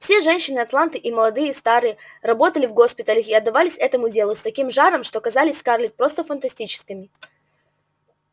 все женщины атланты и молодые и старые работали в госпиталях и отдавались этому делу с таким жаром что казались скарлетт просто фанатичками